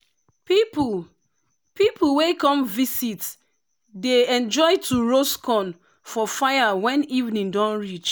people people wey come visit dey enjoy to roast corn for fire when evening don reach.